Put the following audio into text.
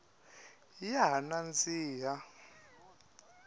ya ha nandzihi